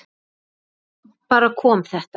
En svo bara kom þetta.